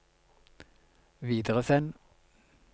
videresend